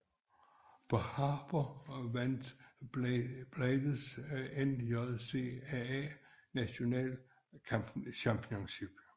På Harper vandt Blaydes NJCAA National Championship